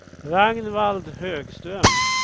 Ragnvald Högström